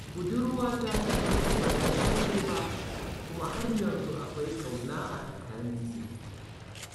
Budurwata ta farko ba ta yi aure ba, kuma har yanzu akwai ƙauna a tsakaninmu.